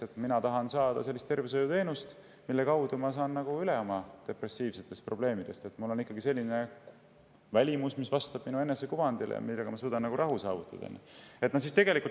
Ta tahab saada tervishoiuteenust, mille abil ta saab oma depressiivsetest probleemidest üle, sellist välimust, mis vastab tema enesekuvandile ja mille abil ta suudab saavutada rahu.